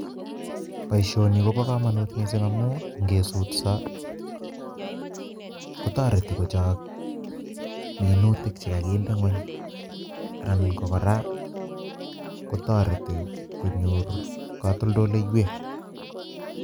Boishoni koboo komunut missing ngamun ingetsutsoo, kotoretii kochok minutiik chekokinde ngwony, Alan ko kora koteretii konyor kotoltoleiwek